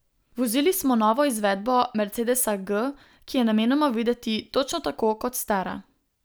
Vozili smo novo izvedbo mercedesa G, ki je namenoma videti točno tako kot stara.